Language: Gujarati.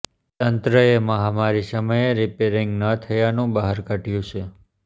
તંત્રએ મહામારી સમયે રિપેરિંગ ન થયાનું બહાનું કાઢ્યું છે